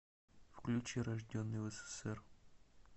включи рожденный в ссср